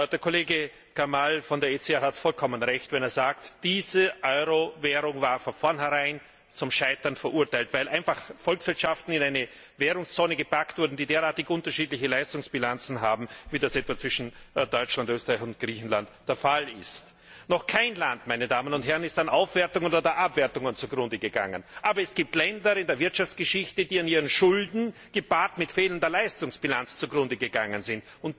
Der Kollege Karnall von der ECR hat vollkommen Recht, wenn er sagt Diese Euro Währung war von vorneherein zum Scheitern verurteilt, weil einfach Volkswirtschaften in eine Währungszone gepackt wurden, die derartig unterschiedliche Leistungsbilanzen haben, wie das etwa zwischen Deutschland, Österreich und Griechenland der Fall ist. Noch kein Land ist an Aufwertungen oder Abwertungen zugrunde gegangen. Aber es gibt Länder in der Wirtschaftsgeschichte, die an ihren Schulden gepaart mit fehlender Leistungsbilanz zugrunde gegangen sind.